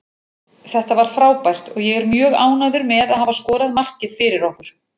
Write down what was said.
Þetta var frábært og ég er mjög ánægður með að hafa skorað markið fyrir okkur.